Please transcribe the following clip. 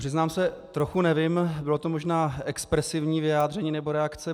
Přiznám se, trochu nevím, bylo to možná expresivní vyjádření nebo reakce.